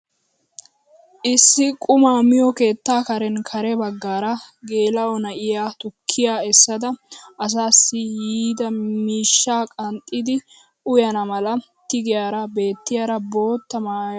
Issi qumaa miyoo keettaa karen kare baggaara geela'o na'iyaa tukkiyaa essada asaassi yiidi miishshaa qanxxidi uyana mala tigiyaara bettiyaara boottaa maayasu!